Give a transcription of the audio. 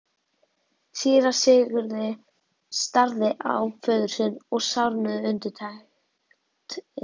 Síra Sigurði starði á föður sinn og sárnuðu undirtektirnar.